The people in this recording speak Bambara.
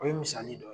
O ye misali dɔ ye